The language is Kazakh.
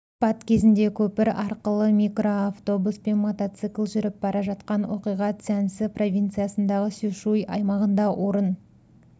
апат кезінде көпір арқылы микроавтобус пен мотоцикл жүріп бара жатқан оқиға цзянси провинциясындағы сюшуй аймағында орын